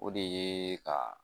O de ye ka